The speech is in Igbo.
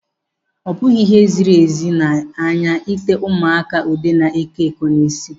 Ọ bụghị ihe ziri ezi n'anya ite ụmụaka ude na-eko eko n'isi.